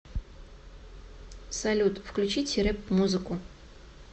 салют включите рэп музыку